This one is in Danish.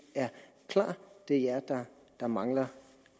er klar det er jer der mangler